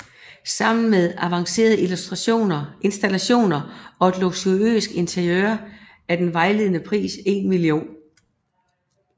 Sammen med avancerede installationer og et luksuriøst interiør er den vejledende pris 1 mio